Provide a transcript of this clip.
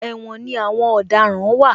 Ẹ̀wòn ni àwọn ọ̀daràn wà